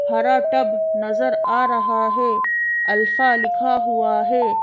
हरा टब नजर आ रहा है अल्फा लिखा हुआ है।